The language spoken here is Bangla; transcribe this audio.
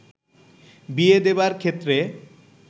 বিয়ে দেবার ক্ষেত্রে